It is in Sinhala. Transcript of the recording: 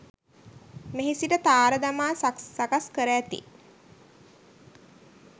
මෙහි සිට තාර දමා සකස්කර ඇති